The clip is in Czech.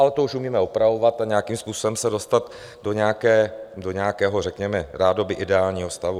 Ale to už umíme opravovat a nějakým způsobem se dostat do nějakého řekněme rádoby ideálního stavu.